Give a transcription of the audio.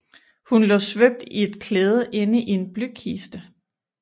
Hun lå svøbt i et klæde inde i en blykiste